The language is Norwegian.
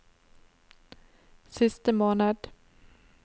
siste måned